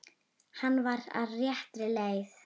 Hann var á réttri leið.